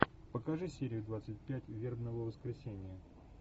покажи серию двадцать пять вербного воскресенья